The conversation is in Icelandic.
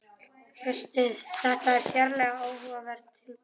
Hlustið: þetta er sérlega áhugavert tilboð